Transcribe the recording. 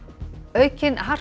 aukin harka